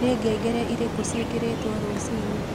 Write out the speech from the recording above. ni ngengere irĩku cĩĩkĩrĩtwo rũcĩĩnĩ